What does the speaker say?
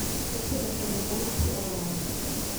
Dhisidda Xiriir Ganacsi oo Wanaagsan.